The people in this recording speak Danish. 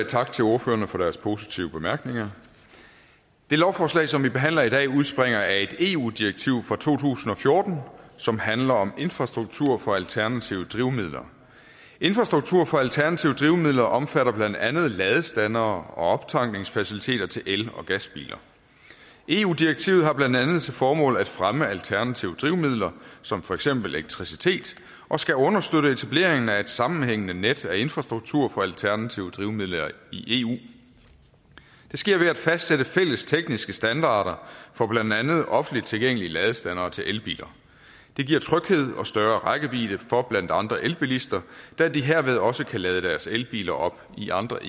tak til ordførerne for deres positive bemærkninger det lovforslag som vi behandler i dag udspringer af et eu direktiv fra to tusind og fjorten som handler om infrastruktur for alternative drivmidler infrastruktur for alternative drivmidler omfatter blandt andet ladestandere og optankningsfaciliteter til el og gasbiler eu direktivet har blandt andet til formål at fremme alternative drivmidler som for eksempel elektricitet og skal understøtte etableringen af et sammenhængende net af infrastruktur for alternative drivmidler i eu det sker ved at fastsætte fælles tekniske standarder for blandt andet offentligt tilgængelige ladestandere til elbiler det giver tryghed og større rækkevidde for blandt andre elbilister da de herved også kan lade deres elbiler op i andre